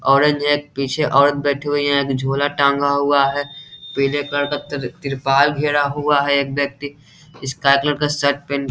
औरत जो है पीछे एक औरत बैठी हुई है झोला टांगा हुआ है पीले कलर का त्रिपाल घेरा हुआ है एक व्यक्ति स्काई कलर का शर्ट पे --